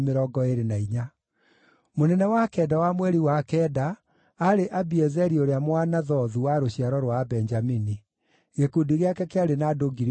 Mũnene wa kenda wa mweri wa kenda aarĩ Abiezeri ũrĩa Mũanathothu wa rũciaro rwa Abenjamini. Gĩkundi gĩake kĩarĩ na andũ 24,000.